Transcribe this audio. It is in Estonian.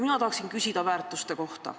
Mina tahan küsida väärtuste kohta.